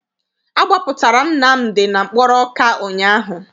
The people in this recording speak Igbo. Agbapụtara Nnamdi na mkpọrọ Ọka ụnyaahụ.